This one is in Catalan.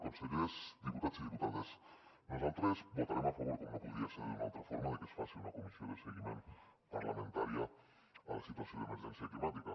consellers diputats i diputades nosaltres votarem a favor com no podria ser d’una altra forma de que es faci una comissió de seguiment parlamentària a la situació d’emergència climàtica